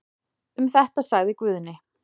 Um þetta sagði Guðni.